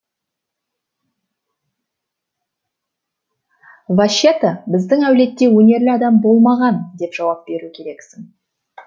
ваще та біздің әулетте өнерлі адам болмаған деп жауап беру керексің